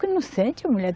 Que não sente mulher?